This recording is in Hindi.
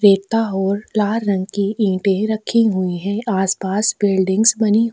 रेता होर लाल रंग के ईंटे रखे हुए है आस पास बिल्डिंग्स बनी--